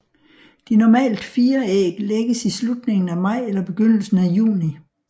De normalt fire æg lægges i slutningen af maj eller begyndelsen af juni